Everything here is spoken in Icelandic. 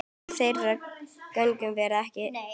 Af þeirri göngu verður ekki.